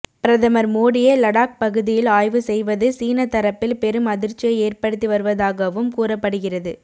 பிரதமர் மோடியே லடாக் பகுதியில் ஆய்வு செய்வது சீன தரப்பில் பெரும் அதிர்ச்சியை ஏற்படுத்தி வருவதாகவும் கூறப்படுகிறது